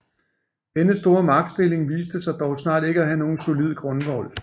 Denne store magtstilling viste sig dog snart ikke at have nogen solid grundvold